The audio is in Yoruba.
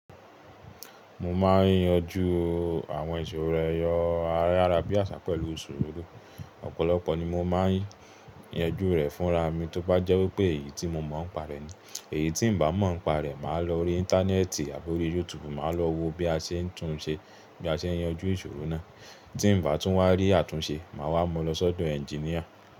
Mo máa ń yanjú àwọn ìṣòro ẹrọ ayárabíàṣá pẹ̀lú sùúrù. Ọ̀pọ̀lọpọ̀ ni mo máa ń yanjú rẹ̀ fúnra mi tó bá jẹ́ wípé èyí tí mo mọ̀ ń pa rẹ̀ ni. Èyí tí n bá mọ̀ nípa rẹ̀, máa lo orí intanẹ́ẹ̀tì àbí orí YouTube, maa lò wọ̀ bíi àṣẹ túnṣe bí a ṣe ń yanjú ìṣòro náà tí ǹ bá tún wá rí àtúnṣe, màá wá mu lọ sọ́dọ̀ ẹnginíà.